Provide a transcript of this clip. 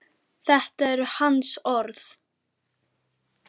Þetta eru hans orð.